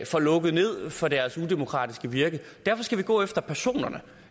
får lukket ned for deres udemokratiske virke derfor skal vi gå efter personerne